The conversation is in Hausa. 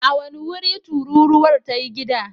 A wane wuri tururuwar ta yi gida?